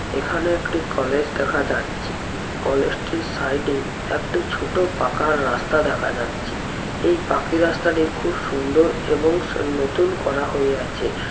এখানে একটি কলেজ দেখা যাচ্ছে। কলেজটির সাইডে একটি ছোট পাকা রাস্তা দেখা যাচ্ছে। এই পাকি রাস্তাটি খুব সুন্দর এবং স নতুন করা হইয়াছে।